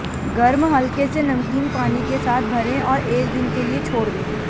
गर्म हल्के से नमकीन पानी के साथ भरें और एक दिन के लिए छोड़ दें